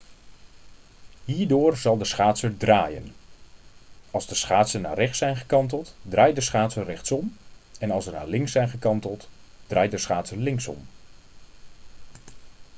hierdoor zal de schaatser draaien als de schaatsen naar rechts zijn gekanteld draait de schaatser rechtsom en als ze naar links zijn gekanteld draait de schaatser linksom